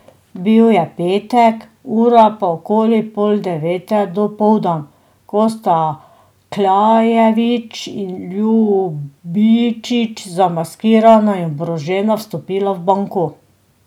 Bil je petek, ura pa okoli pol devete dopoldan, ko sta Kljajević in Ljubičić zamaskirana in oborožena vstopila v banko.